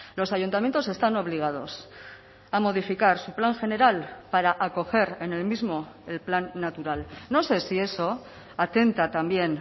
los ayuntamientos están obligados a modificar su plan general para acoger en el mismo el plan natural no sé si eso atenta también